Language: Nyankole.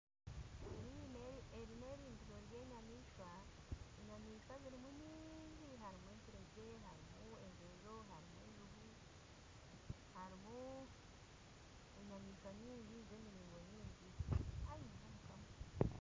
Eri nirindiro ry'enyamishwa, enyamishwa zirimu nyingi harimu enturegye, harimu enjojo, harimu enjubu, harimu enyamaishwa nyingi z'emiringo nyingi.